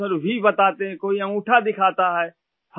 ہاں sir ! V بناتے ہیں ، کوئی انگوٹھا دکھاتا ہے